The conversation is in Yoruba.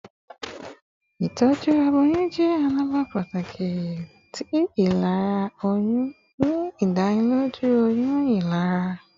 Itọju aboyun jẹ abala pataki ti ilera oyun, ni idaniloju oyun ilera